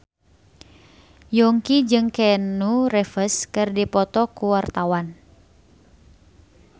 Yongki jeung Keanu Reeves keur dipoto ku wartawan